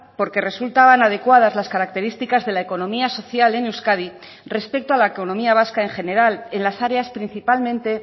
porque resultaban adecuadas las características de la economía social en euskadi respecto a la economía vasca en general en las áreas principalmente